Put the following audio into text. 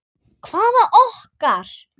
Hvaða okkar?